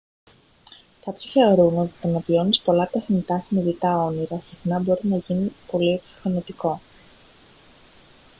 κάποιοι θεωρούν ότι το να βιώνεις πολλά τεχνητά συνειδητά όνειρα συχνά μπορεί να γίνει πολύ εξουθενωτικό